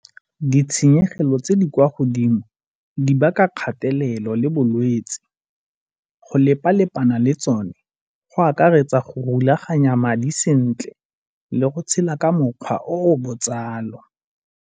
Ditshenyegelo tse di kwa godimo di baka kgatelelo le bolwetsi. Go lepa-lepana le tsone go akaretsa go rulaganya madi sentle le go tshela ka mokgwa o o botsalo.